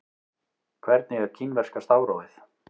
Hvernig er kínverska stafrófið?